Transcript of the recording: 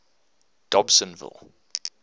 dobsenville